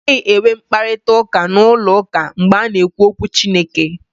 A naghị enwe mkparịta ụka n'ụlọ ụka mgbe a na-ekwu okwu Chineke.